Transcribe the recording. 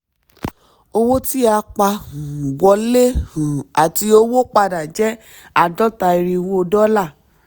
owó tí a pa um wọlé um àti owó padà jẹ́ àádọ́ta irínwó dọ́là.